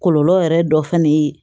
Kɔlɔlɔ yɛrɛ dɔ fɛnɛ ye